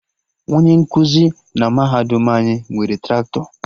Onye nkụzi na mahadum anyị nwere Traktọ